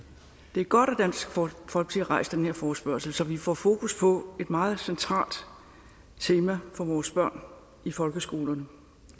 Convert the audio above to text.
det er godt at dansk folkeparti rejser den her forespørgsel så vi får fokus på et meget centralt tema for vores børn i folkeskolerne